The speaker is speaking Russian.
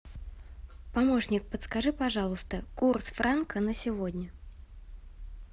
помощник подскажи пожалуйста курс франка на сегодня